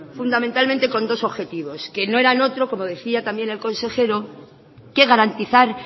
fundamentalmente con dos objetivos que no era otro como decía también el consejero que garantizar